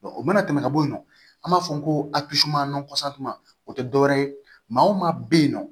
o mana tɛmɛ ka bɔ yen nɔ an b'a fɔ ko o tɛ dɔwɛrɛ ye maa o maa bɛ yen nɔ